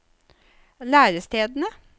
lærestedene